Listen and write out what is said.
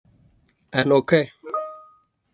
En ok.